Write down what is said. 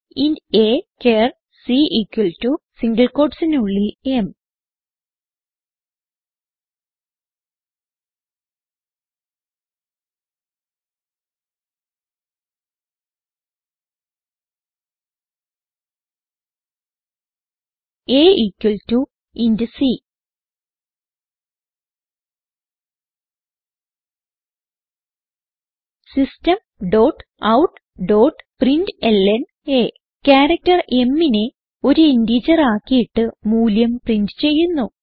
int a char c equal to single quotesനുള്ളിൽ m a equal to c system dot out dot println character mനെ ഒരു integer ആക്കിയിട്ട് മൂല്യം print ചെയ്യുന്നു